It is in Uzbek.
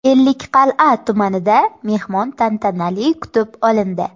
Ellikqal’a tumanida mehmon tantanali kutib olindi.